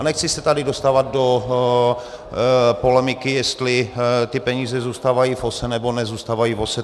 A nechci se tady dostávat do polemiky, jestli ty peníze zůstávají v OSA, nebo nezůstávají v OSA.